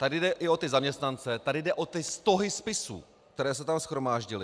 Tady jde i o ty zaměstnance, tady jde o ty stohy spisů, které se tam shromáždily.